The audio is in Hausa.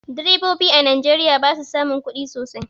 Direbobi a Najeriya ba su samun kudi sosai.